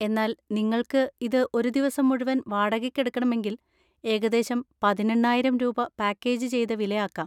എന്നാൽ നിങ്ങൾക്ക് ഇത് ഒരു ദിവസം മുഴുവൻ വാടകയ്‌ക്കെടുക്കണമെങ്കിൽ ഏകദേശം പതിനെണ്ണായിരം രൂപ പാക്കേജ് ചെയ്‌ത വില ആക്കാം.